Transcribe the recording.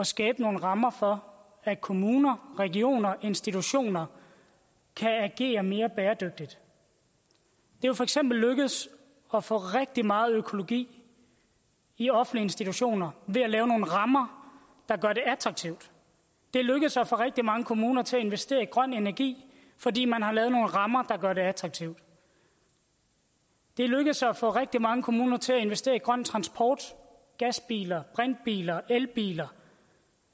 skabe nogle rammer for at kommuner regioner institutioner kan agere mere bæredygtigt det er for eksempel lykkedes at få rigtig meget økologi i offentlige institutioner ved at lave nogle rammer der gør det attraktivt det er lykkedes at få rigtig mange kommuner til at investere i grøn energi fordi man har lavet nogle rammer der gør det attraktivt det er lykkedes at få rigtig mange kommuner til at investere i grøn transport gasbiler brintbiler elbiler